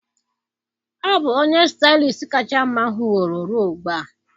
Ọ bụ onye Stylist kacha mma m hụworo ruo ugbu a.